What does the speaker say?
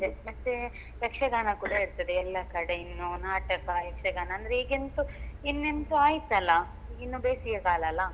ಹಾಗೆ ಮತ್ತೆ ಯಕ್ಷಗಾನ ಕೂಡ ಇರ್ತದೆ ಎಲ್ಲ ಕಡೆ ಇನ್ನು ನಾಟಕ ಯಕ್ಷಗಾನ ಅಂದ್ರೆ ಈಗ ಎಂತು ಇನ್ನು ಎಂತು ಆಯ್ತಲ್ಲ ಈಗ ಇನ್ನು ಬೇಸಿಗೆಕಾಲಲ್ಲ.